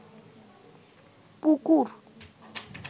পুকুর